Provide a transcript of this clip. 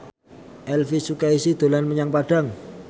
Elvi Sukaesih dolan menyang Padang